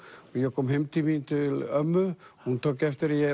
ég kom heim til ömmu og hún tók eftir að